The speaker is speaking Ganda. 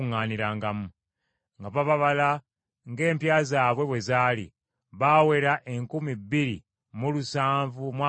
nga bababala ng’empya zaabwe bwe zaali; baawera enkumi bbiri mu lusanvu mu amakumi ataano (2,750).